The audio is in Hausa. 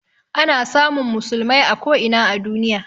Ana samun musulmai a ko ina a duniya